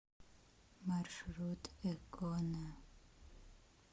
маршрут экона